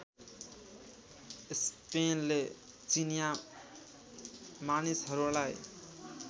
स्पेनले चिनिया मानिसहरूलाई